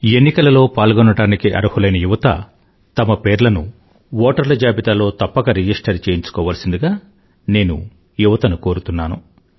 ఎన్నికలలో పాల్గోవడానికి అర్హులైన యువత తమ పేర్లను ఓటర్ల జాబితాలో తప్పక రిజిస్టరు చేయించుకోవాల్సిందిగా నేను యువతను కోరుతున్నాను